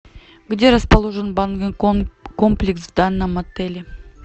где расположен банный комплекс в данном отеле